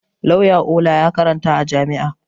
Lauya Ola ya karanta a jami'a